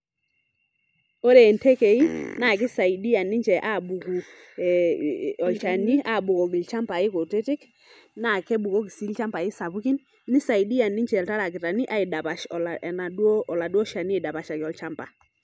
Ore ntekei naa kisaidia ninche abuku e olchani abukoki ilchambai kutiti naa kebukoki sii ilchambai sapukin , nisaidia ninche iltarakitani aidapash enaduo, oladuo shani aidapashaki olchamba.